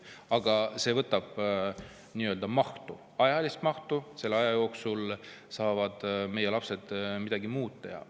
Aga see võtab nii-öelda mahtu, ajalist mahtu, selle aja jooksul saaksid meie lapsed midagi muud teha.